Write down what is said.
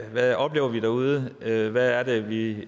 hvad oplever vi derude hvad hvad er det vi